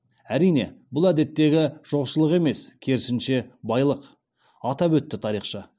әрине бұл әдеттегі жоқшылық емес керісінше байлық атап өтті тарихшы